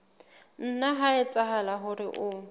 nna ha etsahala hore o